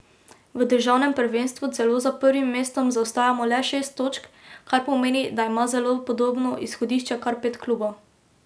V državnem prvenstvu celo za prvim mestom zaostajamo le šest točk, kar pomeni, da ima zelo podobno izhodišče kar pet klubov.